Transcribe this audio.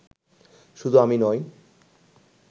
শুধু আমি নই